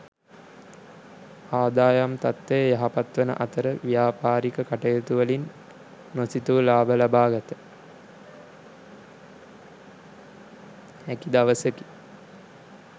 ආදායම් තත්ත්වය යහපත් වන අතර ව්‍යාපාරික කටයුතුවලින් නොසිතූ ලාභ ලබාගත හැකි දවසකි.